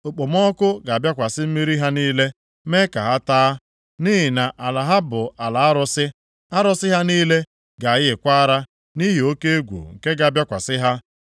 Okpomọkụ ga-abịakwasị mmiri ha niile mee ka ha taa. Nʼihi na ala ha bụ ala arụsị: arụsị ha niile ga-ayịkwa ara nʼihi oke egwu nke ga-abịakwasị ha.